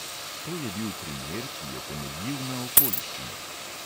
To je bil primer, ki je temeljil na okoliščinah.